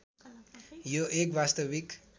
यो एक वास्तविक